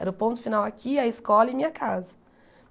Era o ponto final aqui, a escola e minha casa.